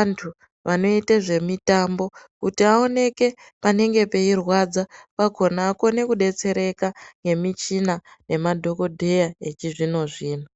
antu vanoita zvemitambo kuti awoneke panenge peirwadza pakona akone kudetsereka ngemichina nemadhokodheya echizvino zvino.